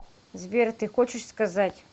сбер ты хочешь сказать